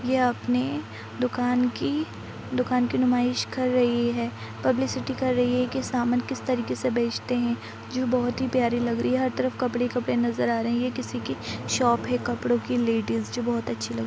ये अपने दुकान की दुकान की नुमाइश कर रही है। पब्लिसिटी कर रही है कि सामान किस तरह से बेचते हैं जो बहुत ही प्यारी लग रही है। हर तरफ कपड़े ही कपड़े नजर आ रहै हैं। किसी की शॉप है कपड़ों की लेडिस जो बहुत अच्छी लग रही है।